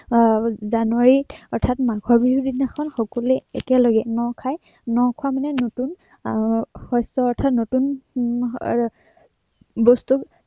আহ জানুৱাৰীত অৰ্থাৎ মাঘৰ বিহুৰ দিনাখন সকলোৱে একেলগে ন খায়। ন খোৱা মানে নতুন আহ শস্য় অৰ্থাৎ উম নতুন মাহৰ এৰ বস্তু